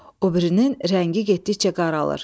Obirinin rəngi getdikcə qaralır.